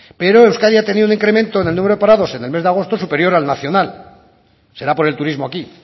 pero euskadi ha tenido un incremento en el número de parados en el mes de agosto superior al nacional será por el turismo aquí